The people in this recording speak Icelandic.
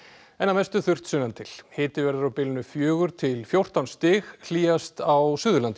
en að mestu þurrt sunnantil hiti verður á bilinu fjögur til fjórtán stig hlýjast á Suðurlandi